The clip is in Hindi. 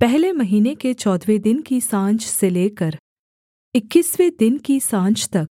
पहले महीने के चौदहवें दिन की साँझ से लेकर इक्कीसवें दिन की साँझ तक